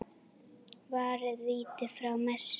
Varði víti frá Messi.